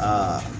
Aa